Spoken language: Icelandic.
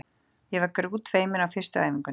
Ég var grútfeimin á fyrstu æfingunni.